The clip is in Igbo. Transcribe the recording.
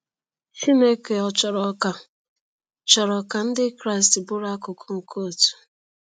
Chineke ò chọrọ ka chọrọ ka Ndị Kraịst bụrụ akụkụ nke òtù?